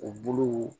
U buluw